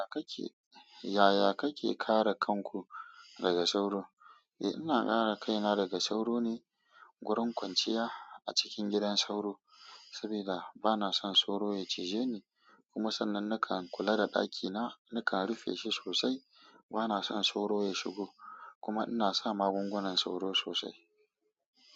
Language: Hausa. Yaya kake, yaya kake kare kanku daga sauro? Eh ina kare kaina daga sauro ne gurin kwanciya a cikin gidan sauro saboda bana son sauro ya cije ni. Kuma sannan nakan kula da ɗakina, nakan rufe shi sosai bana son sauro ya shigo. Kuma ina sa magungunan sauro sosai.